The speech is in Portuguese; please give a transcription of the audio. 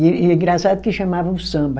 E engraçado que chamavam samba.